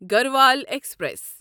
Garhwal express